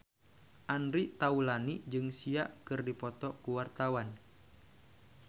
Andre Taulany jeung Sia keur dipoto ku wartawan